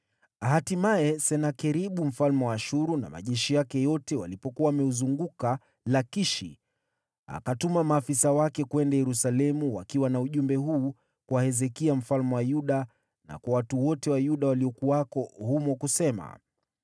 Hatimaye Senakeribu mfalme wa Ashuru na majeshi yake yote walipokuwa wameuzunguka Lakishi, akawatuma maafisa wake kwenda Yerusalemu wakiwa na ujumbe huu kwa Hezekia mfalme wa Yuda, na kwa watu wote wa Yuda waliokuwako humo, kusema: